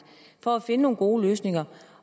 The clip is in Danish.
for at finde nogle gode løsninger